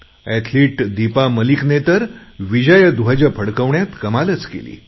athlete Deepa मलिकने तर विजयध्वज फडकवण्यात कमालच केली